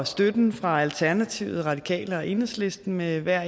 støtten fra alternativet radikale og enhedslisten med hver